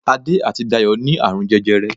Adé àti Dayọ̀ ní àrùn jẹjẹrẹ